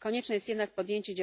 Konieczne jest jednak podjęcie